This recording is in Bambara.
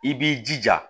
I b'i jija